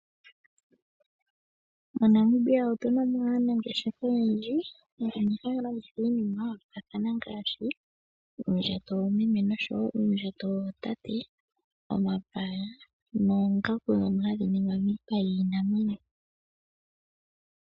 MoNamibia otu na mo aanangeshefa oyendji mbono haya landitha iinima ya yoolokathana ngaashi: uundjato woomeme noshowo uundjato wootate, omapaya noongaku ndhono hadhi ningwa miipa yiinamwenyo.